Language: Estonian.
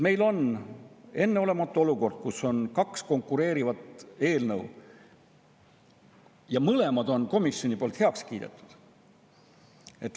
Meil on enneolematu olukord, kus on kaks konkureerivat eelnõu ja mõlemad on komisjonis heaks kiidetud.